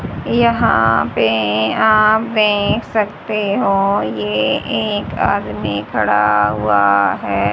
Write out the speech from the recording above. यहां पे आप देख सकते हो ये एक आदमी खड़ा हुआ है।